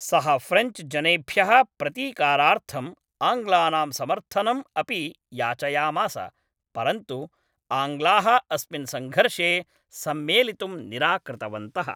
सः ऴ्रेञ्च् जनेभ्यः प्रतीकारार्थं आङ्ग्लानां समर्थनम् अपि याचयामास, परन्तु आङ्ग्लाः अस्मिन् संघर्षे सम्मेलितुं निराकृतवन्तः।